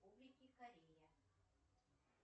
корея